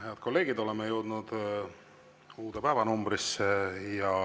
Head kolleegid, oleme jõudnud uude päeva.